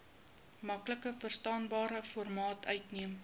maklikverstaanbare formaat uiteen